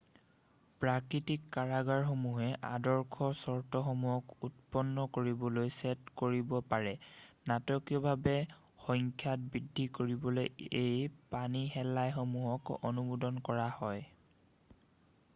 প্ৰাকৃতিক কাৰকসমূহে আদৰ্শ চৰ্তসমূক্ষক উৎপন্ন কৰিবলৈ ছেদ কৰিব পাৰে নাটকীয়ভাৱে সংখ্যাত বৃদ্ধি কৰিবলৈ এই পানীশেলাইসমূহক অনুমোদন কৰা হয়৷